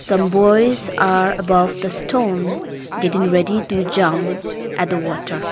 some boys are above the stone getting ready to jump at the water.